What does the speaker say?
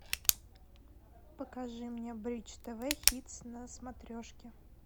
покажи мне бридж тв хитс на смотрешке